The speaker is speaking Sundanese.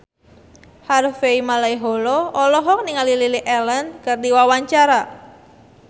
Harvey Malaiholo olohok ningali Lily Allen keur diwawancara